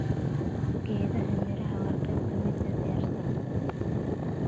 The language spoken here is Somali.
Geedaha miraha waa qayb ka mid ah beerta.